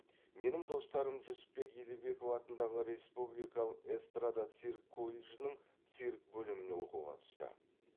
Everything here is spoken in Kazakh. менің достарым жүсіпбек елебеков атындағы республикалық эстрада цирк колледжінің цирк бөліміне оқуға түсті